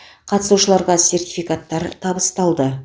қатысушыларға сертификаттар табысталды